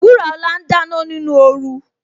Wuraola ń dáná nínú oru